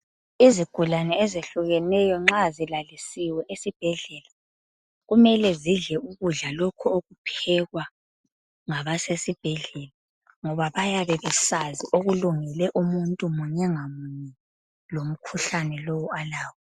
Izigulane ezehlukeneyo nxa zilalisiwe esibhedlela kumele zidle ukudla lokhu okuphekwa ngabasesibhedlela ngoba bayabe besazi okulungele umuntu munye ngamunye lomkhuhlane lo alawo.